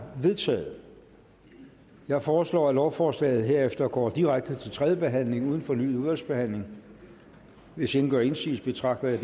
vedtaget jeg foreslår at lovforslaget herefter går direkte til tredje behandling uden fornyet udvalgsbehandling hvis ingen gør indsigelse betragter jeg